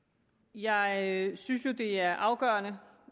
jeg synes jo det er afgørende